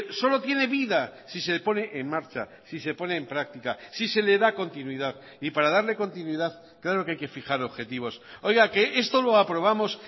solo tiene vida si se pone en marcha si se pone en práctica si se le da continuidad y para darle continuidad claro que hay que fijar objetivos oiga que esto lo aprobamos